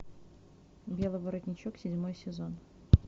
белый воротничок седьмой сезон